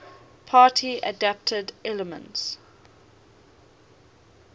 party adapted elements